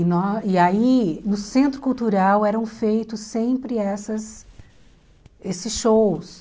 E nós e aí, no Centro Cultural, eram feitos sempre essas esses shows.